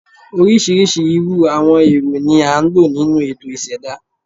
Oríṣiríṣi irú àwọn ẹ̀rọ ni a ń lò nínú ètò ìṣẹ̀dá